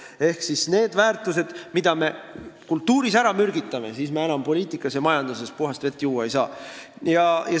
Ehk kui me mingid väärtused kultuuris ära mürgitame, siis me enam poliitikas ja majanduses puhast vett juua ei saa.